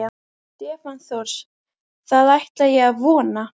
Stefán Thors: Það ætla ég að vona?